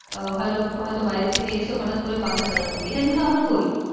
হয়ত হয়ত বাইরের থেকে এসে হঠাৎ করে পাখা চালানো এটা কিন্তু আমরা করি